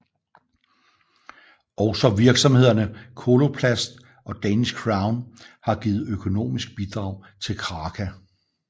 Også virksomhederne Coloplast og Danish Crown har givet økonomiske bidrag til Kraka